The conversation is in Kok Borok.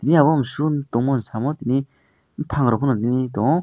ayebo mosung tangmani samo tini bopang rok pono nogpi tango.